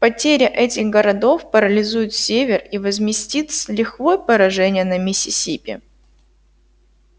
потеря этих городов парализует север и возместит с лихвой поражение на миссисипи